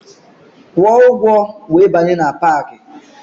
Kwụọ ụgwọ wee banye na paakị!